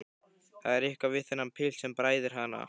Það er eitthvað við þennan pilt sem bræðir hana.